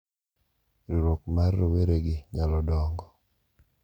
Riwruok mar roweregi nyalo dongo,